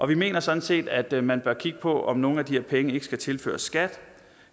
vi mener sådan set at man bør kigge på om nogle af de her penge ikke skal tilføres skat